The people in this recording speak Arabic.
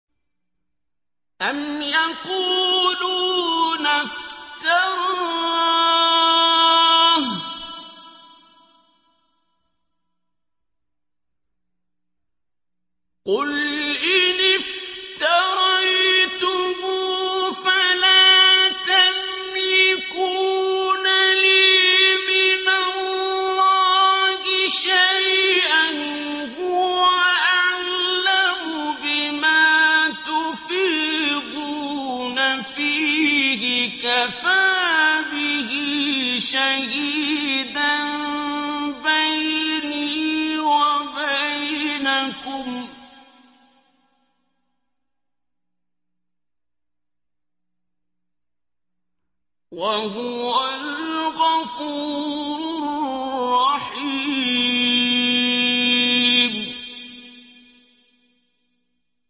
أَمْ يَقُولُونَ افْتَرَاهُ ۖ قُلْ إِنِ افْتَرَيْتُهُ فَلَا تَمْلِكُونَ لِي مِنَ اللَّهِ شَيْئًا ۖ هُوَ أَعْلَمُ بِمَا تُفِيضُونَ فِيهِ ۖ كَفَىٰ بِهِ شَهِيدًا بَيْنِي وَبَيْنَكُمْ ۖ وَهُوَ الْغَفُورُ الرَّحِيمُ